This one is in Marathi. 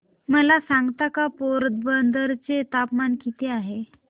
मला सांगता का पोरबंदर चे तापमान किती आहे